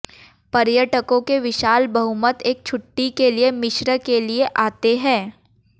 पर्यटकों के विशाल बहुमत एक छुट्टी के लिए मिस्र के लिए आते हैं